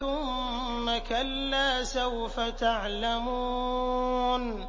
ثُمَّ كَلَّا سَوْفَ تَعْلَمُونَ